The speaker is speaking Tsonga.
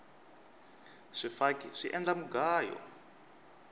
swifaki swi endla mugayo